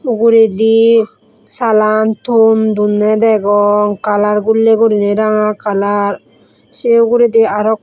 uguredi salan ton donne degong kalar gullei gurinei ranga kalar se uguredi arok.